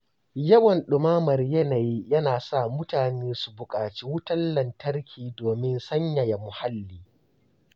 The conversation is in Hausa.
Yawan ɗumamar yanayi yana sa mutane su buƙaci wutar lantarki domin sanyaya muhalli.